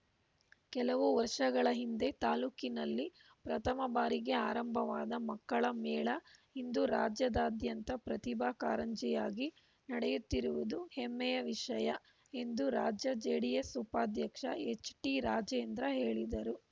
ಕೆಲವು ವರ್ಷಗಳ ಹಿಂದೆ ತಾಲೂಕಿನಲ್ಲಿ ಪ್ರಥಮ ಬಾರಿಗೆ ಆರಂಭವಾದ ಮಕ್ಕಳ ಮೇಳ ಇಂದು ರಾಜ್ಯದಾದ್ಯಂತ ಪ್ರತಿಭಾ ಕಾರಂಜಿಯಾಗಿ ನಡೆಯುತ್ತಿರುವುದು ಹೆಮ್ಮೆಯ ವಿಷಯ ಎಂದು ರಾಜ್ಯ ಜೆಡಿಎಸ್‌ ಉಪಾಧ್ಯಕ್ಷ ಎಚ್‌ಟಿರಾಜೇಂದ್ರ ಹೇಳಿದರು